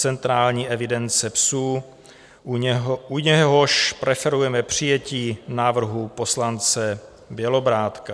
Centrální evidence psů, u něhož preferujeme přijetí návrhu poslance Bělobrádka.